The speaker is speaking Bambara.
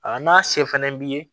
A n'a se fɛnɛ b'i ye